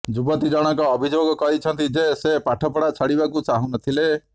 ଯୁବତୀ ଜଣକ ଅଭିଯୋଗ କରିଛନ୍ତି ଯେ ସେ ପାଠ ପଢା ଛାଡିବାକୁ ଚାହୁଁନଥିଲେ